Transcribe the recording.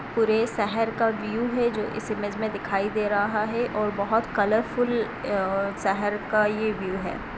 पूरे शहर का व्यू है जो इस इमेज मे दिखाई दे रहा है| और बहुत कलरफूल शहर का ये व्यू है।